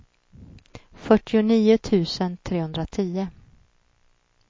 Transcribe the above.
fyrtionio tusen trehundratio